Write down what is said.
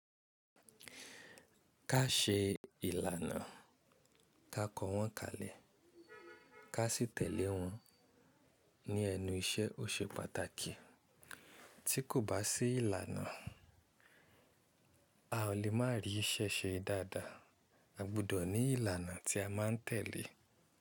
Ká ṣe ìlànà, ká kọ wọ́n kalẹ̀, ká sì tẹ̀lé wọ́n ní ẹnu iṣẹ́ ó ṣe pàtàkì. Tí kò bá sí ìlànà, a ò lè má rí iṣẹ́ ṣe dáadáa. A gbúdọ̀ ní ìlànà tí a má ń tẹ̀lé.